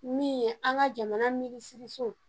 Min ye an ka jamana minisiri so.